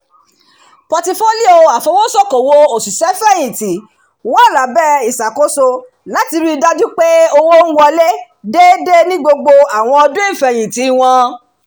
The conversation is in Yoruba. pọtifólíò afowósókòwò òṣìṣẹ́fẹ̀yìntì wà lábẹ́ ìṣàkóso láti rí dájú pé owó ń wọlé déédé ni gbogbo àwọn ọdún ìfẹ̀yìntì wọn